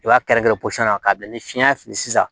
I b'a kɛrɛn kɛrɛn posɔn na k'a bila ni fiɲɛ fili sisan